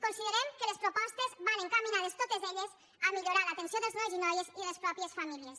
considerem que les propostes van encaminades totes elles a millorar l’atenció dels nois i noies i de les mateixes famílies